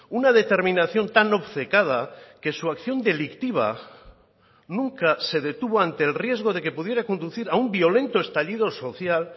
una determinación tan obcecada que su acción delictiva nunca se detuvo ante el riesgo de que pudiera conducir a un violento estallido social